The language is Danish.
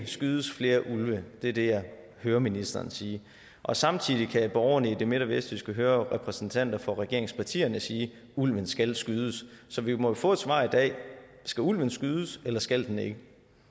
skydes flere ulve det er det jeg hører ministeren sige og samtidig kan borgerne i det midt og vestjyske høre repræsentanter for regeringspartierne sige at ulven skal skydes så vi må jo få et svar i dag skal ulven skydes eller skal den ikke